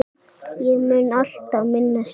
Ég mun alltaf minnast þín.